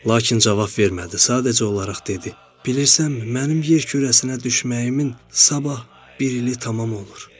Lakin cavab vermədi, sadəcə olaraq dedi: "Bilirsənmi, mənim yer kürəsinə düşməyimin sabah bir ili tamam olur."